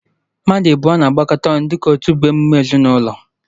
Mmadụ abụọ na-agbakọta ọnụ dịka otu bụ emume ezinụlọ